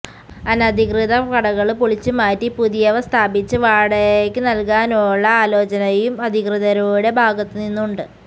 അനധികൃത കടകള് പൊളിച്ചുമാറ്റി പുതിയവ സ്ഥാപിച്ച് വാടകക്ക് നല്കാനുള്ള ആലോചനയും അധികൃതരുടെ ഭാഗത്ത് നിന്നുണ്ട്